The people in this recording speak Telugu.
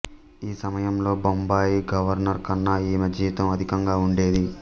ఆ సమయంలో బొంబాయి గవర్నర్ కన్నా ఈమె జీతం అధికంగా ఉండేది